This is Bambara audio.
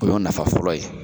O y'o nafa fɔlɔ ye.